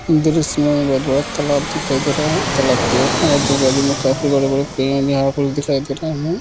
इधर इसमें बहुत बड़ा तालब दिखाई दे रहा है तालाब के आजू-बाजू में काफी बड़े-बड़े पेड़ भी यहाँ पर दिखाई दे रहें हैं।